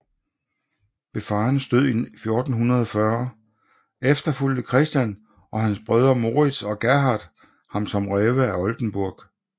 Ved faderens død i 1440 efterfulgte Christian og hans brødre Morits og Gerhard ham som greve af Oldenburg